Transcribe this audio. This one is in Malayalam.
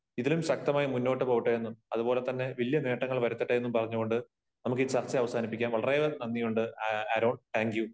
ഇതിലും ശക്തമായി മുന്നോട്ട് പോകട്ടെ എന്നും അത് പോലെ തന്നെ വലിയ നേട്ടങ്ങൾ വരുത്തട്ടെ എന്നും പറഞ്ഞു കൊണ്ട് നമുക്കീ ചർച്ച അവസാനിപ്പിക്കാം. വളരെ നന്ദിയുണ്ട് ആരോൺ, താങ്ക് യു.